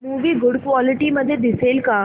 movie good quality मध्ये दिसेल का